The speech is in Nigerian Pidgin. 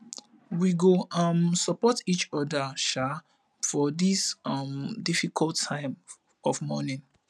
we go um support each oda um for dis um difficult time of mourning